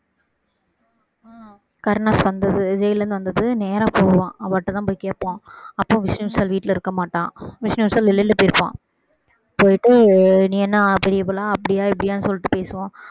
கருணாஸ் வந்து ஜெயில்ல இருந்து வந்தது நேரா போவான் அவகிட்டதான் போய் கேப்பான் அப்போ விஷ்ணு விஷால் வீட்டுல இருக்க மாட்டான் விஷ்ணு விஷால் வெளியில போயிருப்பான் போயிட்டு நீ என்ன பெரிய இவளா அப்படியா இப்படியான்னு சொல்லிட்டு பேசுவான்